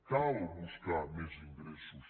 cal buscar més ingressos